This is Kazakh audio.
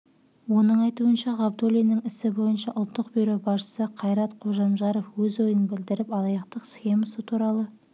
оның айтуынша ғабдулиннің ісі бойынша ұлттық бюро басшысы қайрат қожамжаров өз ойын білдіріп алаяқтық схемасы туралы